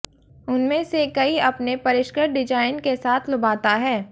उनमें से कई अपने परिष्कृत डिजाइन के साथ लुभाता है